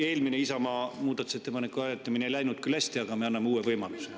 Eelmine Isamaa muudatusettepaneku hääletamine ei läinud küll hästi, aga me anname uue võimaluse.